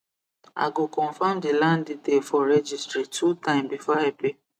i go confirm the land detail for registry two time before i pay